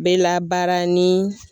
Bɛ labaara ni